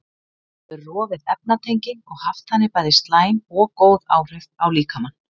Hún getur rofið efnatengi og haft þannig bæði slæm og góð áhrif á líkamann.